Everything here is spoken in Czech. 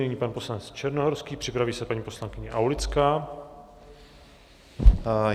Nyní pan poslanec Černohorský, připraví se paní poslankyně Aulická.